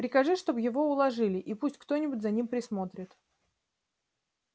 прикажи чтобы его уложили и пусть кто-нибудь за ним присмотрит